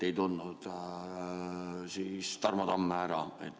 Ei tundnud Tarmo Tamme ära.